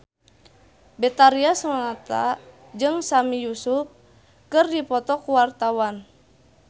Betharia Sonata jeung Sami Yusuf keur dipoto ku wartawan